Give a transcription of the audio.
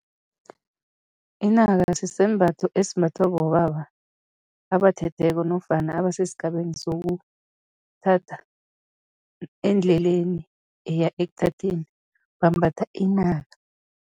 Inaka sisembatho esimbathwa bobaba abathetheko nofana abasesigabeni sokuthatha, endleleni eya ekuthatheni, bambatha inaka.